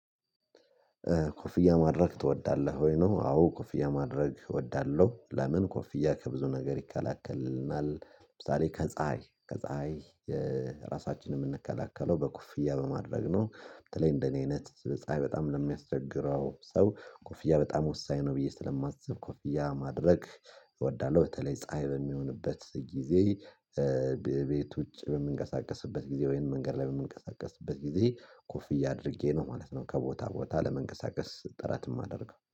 ኮፍያ ማድረግ ትወዳለሁ ወይ ነው? አዎ ኮፍያ ማድረግ እወዳለሁ። ለምን ኮፍያ ከብዙ ነገር ይከላከልናል ለምሳሌ ከፀሀይ ከፀሀይ ራሳችንን የምንከላከለው በኮፍያ በማድረግ ነው። በተለይ እንደኔ አይነት ፀሀይ በጣም ለሚያስቸግረው ሰው ኮፍያ በጣም ወሳኝ ነው ብዬ ስለማስብ ኮፍያ ማድረግ እወዳለሁ። በተለይ ፀሀይ በሚሆንበት ጊዜ። ቤት ውጭ በምንቀሳቀስበት ጊዜ ወይም መንገድ ላይ በምንቀሳቀስበት ጊዜ ኮፍያ አድርጌ ነው ማለት ነው። ከቦታ ቦታ ለመንቀሳቀስ ጥረት የማደርገው